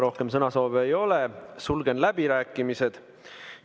Rohkem sõnasoove ei ole, sulgen läbirääkimised.